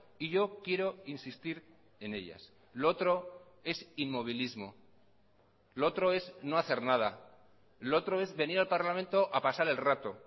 y yo quiero insistir en ellas lo otro es inmovilismo lo otro es no hacer nada lo otro es venir al parlamento a pasar el rato